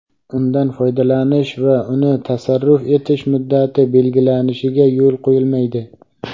undan foydalanish va uni tasarruf etish muddati belgilanishiga yo‘l qo‘yilmaydi.